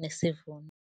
nesivuno.